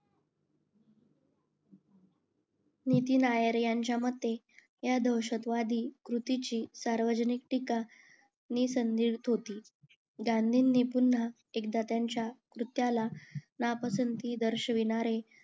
नितीन नायर यांच्या मते ह्या दहशतवादी कृतीची सार्वजनिक टीका होती गांधींनी पुन्हा एकदा त्यांच्या कृत्याला नापसंदी दर्शविणारे